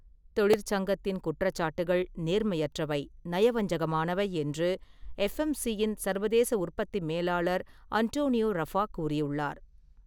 தொழிற்சங்கத்தின் குற்றச்சாட்டுகள் நேர்மையற்றவை, நயவஞ்சகமானவை என்று எஃப்எம்சி-யின் சர்வதேச உற்பத்தி மேலாளர் அன்டோனியோ ரஃபா கூறியுள்ளார்.